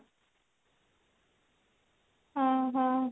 ଓ ହଉ